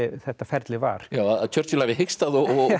þetta ferli var já að Churchill hafi hikstað og